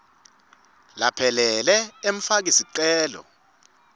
laphelele emfaki sicelo